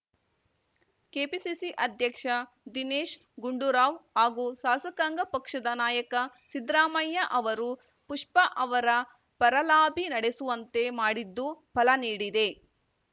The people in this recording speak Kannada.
ಕೆಪಿಸಿಸಿ ಅಧ್ಯಕ್ಷ ದಿನೇಶ್‌ ಗುಂಡೂರಾವ್‌ ಹಾಗೂ ಶಾಸಕಾಂಗ ಪಕ್ಷದ ನಾಯಕ ಸಿದ್ದರಾಮಯ್ಯ ಅವರು ಪುಷ್ಪಾ ಅವರ ಪರ ಲಾಬಿ ನಡೆಸುವಂತೆ ಮಾಡಿದ್ದು ಫಲ ನೀಡಿದೆ